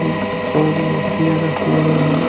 ये कोई मोतिया रखी हुई है।